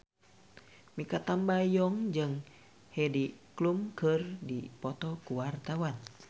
Mikha Tambayong jeung Heidi Klum keur dipoto ku wartawan